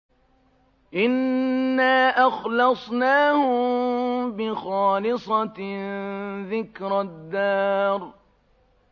إِنَّا أَخْلَصْنَاهُم بِخَالِصَةٍ ذِكْرَى الدَّارِ